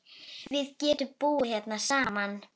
Við getum búið hérna saman.